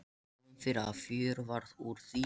Kom fyrir að fjör varð úr því.